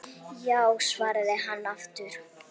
Já svarar hann aftur.